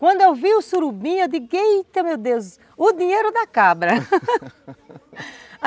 Quando eu vi o surubim, eu digo, Eita, meu Deus, o dinheiro da cabra.